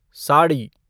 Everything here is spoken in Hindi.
साड़ी